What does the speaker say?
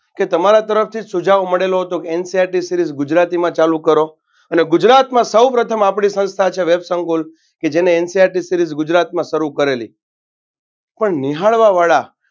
કે તમારા તરફથી સુજાવ મળેલો હતો કે NCRTseries ગુજરાતીમાં ચાલુ કરો અને ગુજરાતમાં સૌપ્રથમ સંસ્થા છે વેબ સંકુલ કે જેન NCRTseries ગુજરાતમાં શરૂ કરેલી પણ નિહાળવાવાળા